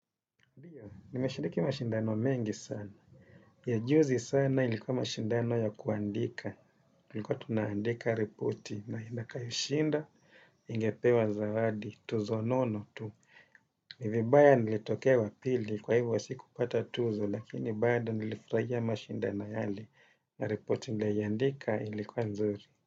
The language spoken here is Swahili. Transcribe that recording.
Ndiyo, nimeshiriki mashindano mengi sana. Ya juzi sana ilikuwa mashindano ya kuandika. Niko tunaandika repoti na anakayeshinda, ingepewa zawadi, tuzo nono tu. Ni vibaya nilitokea wa pili, kwa hivyo sikupata tuzo, lakini bado nilifurahia mashindano yale. Na repoti niliyoandika ilikuwa nzuri.